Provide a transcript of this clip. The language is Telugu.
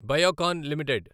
బయోకాన్ లిమిటెడ్